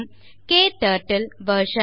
மற்றும் க்டர்ட்டில் வெர்ஷன்